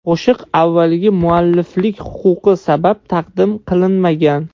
Qo‘shiq avvaliga mualliflik huquqi sabab taqdim qilinmagan.